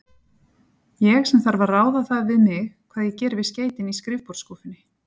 Ég, sem þarf að ráða það við mig, hvað ég geri við skeytin í skrifborðsskúffunni.